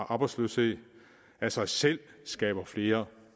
arbejdsløshed af sig selv skaber flere